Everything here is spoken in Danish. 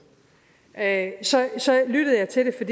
da lyttede jeg til det for